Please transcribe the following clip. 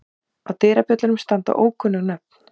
Á dyrabjöllunum standa ókunnug nöfn.